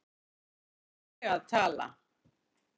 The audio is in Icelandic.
Hér er ég að tala